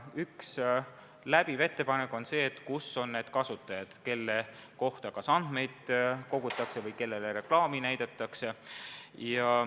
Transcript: Üks läbiv ettepanek on lähtuda sellest, kus on need kasutajad, kelle kohta kas andmeid kogutakse või kellele reklaami näidatakse.